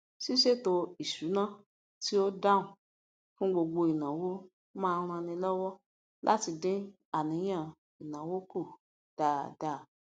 ṣíṣètò ìsuna tí ó dáhùn fún gbogbo ináwó má ń ran ni lọwọ láti dín àníyàn ináwó kù dáadáa